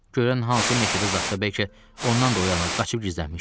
Görən hansı meşədə zad da, bəlkə ondan da o yana qaçıb gizlənmişdim.